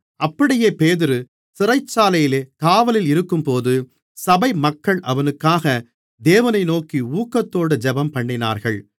அப்படியே பேதுரு சிறைச்சாலையிலே காவலில் இருக்கும்போது சபை மக்கள் அவனுக்காக தேவனை நோக்கி ஊக்கத்தோடு ஜெபம்பண்ணினார்கள்